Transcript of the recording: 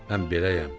Mən beləyəm.